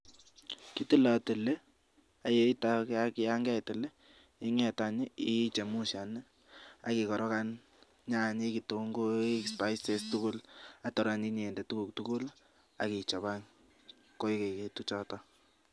Kitilotili ak yan keitil any ii, ichemushan ak ikorokan nyanyik, ketunguik, spices tugul ak tor any inyon inde tuguk tugul ak ichob any koigekitu choton.